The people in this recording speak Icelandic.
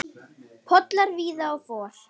Pollar víða og for.